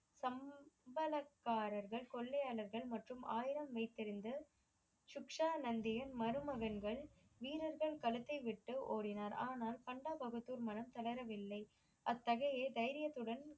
சம்பளக் காரர்கள் கொள்ளையளர்கள் மற்றும் ஆயுதம் வைத்து இருந்து சுக்க்ஷா நந்தியின் மருமகன்கள் வீரர்கள் களத்தை விட்டு ஓடினார் ஆனால் பண்டா பகத்தூர் மனம் தளர வில்லை அத்தகைய தைரியத்துடன்